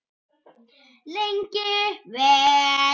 Lengi vel.